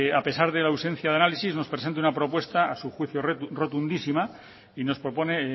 a pesar de la ausencia de análisis nos presenta una propuesta a su juicio rotundísima y nos propone